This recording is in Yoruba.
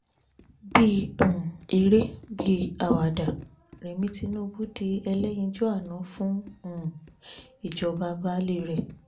bí um eré bí àwàdà remi tinubu di ẹlẹ́yinjú àánú fún um ìjọba baálé rẹ̀